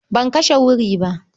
Ban kashe wuri ba.